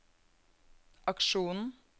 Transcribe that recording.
aksjonen